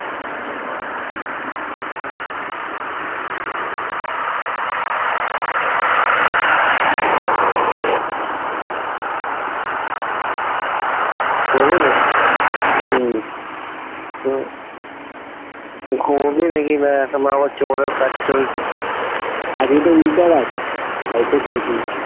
নাকি? হম ও ঘুমাবি নাকি না এখন আবার আজকে তো meetup আছে তাই আজকে ছুটি